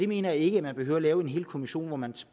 mener ikke man behøver lave en hel kommission hvor man